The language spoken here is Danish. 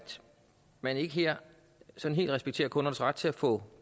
man ikke her helt respekterer kundernes ret til at få